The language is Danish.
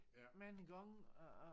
Mange gange at at